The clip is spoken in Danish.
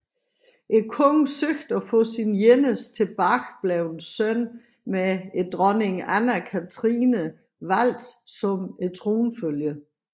Kongen søgte at få sin eneste tilbageblevne søn med dronning Anna Catrine valgt som tronfølger